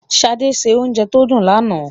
Ṣadé se oúnjẹ tó dùn lánàá.